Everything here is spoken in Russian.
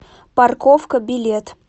парковка билет